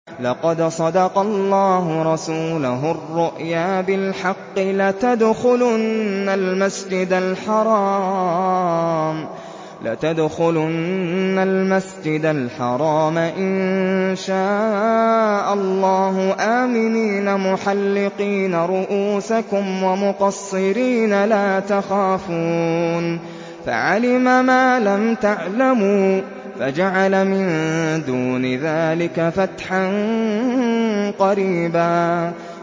لَّقَدْ صَدَقَ اللَّهُ رَسُولَهُ الرُّؤْيَا بِالْحَقِّ ۖ لَتَدْخُلُنَّ الْمَسْجِدَ الْحَرَامَ إِن شَاءَ اللَّهُ آمِنِينَ مُحَلِّقِينَ رُءُوسَكُمْ وَمُقَصِّرِينَ لَا تَخَافُونَ ۖ فَعَلِمَ مَا لَمْ تَعْلَمُوا فَجَعَلَ مِن دُونِ ذَٰلِكَ فَتْحًا قَرِيبًا